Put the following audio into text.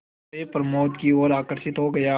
सोए प्रमोद की ओर आकर्षित हो गया